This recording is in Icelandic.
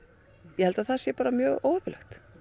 ég held að það sé bara mjög óheppilegt